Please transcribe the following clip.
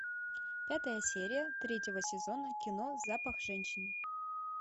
пятая серия третьего сезона кино запах женщины